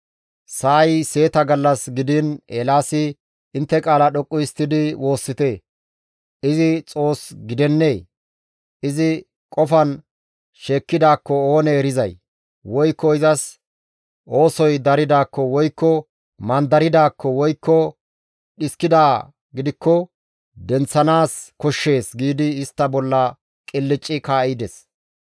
Sa7ay seeta gallas gidiin Eelaasi, «Intte qaala dhoqqu histtidi woossite! Izi xoos gidennee! Izi qofan sheekkidaakko Oonee erizay, woykko izas oosoy daridaakko, woykko mandaridaakko, woykko dhiskidaa gidikko denththanaas koshshees!» giidi istta bolla qilcci kaa7ides.